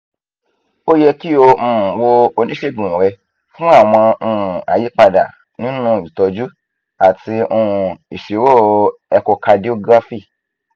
o yẹ ki o um wo onisegun rẹ fun awọn um ayipada ninu itọju ati um iṣiro echocardiography []cs]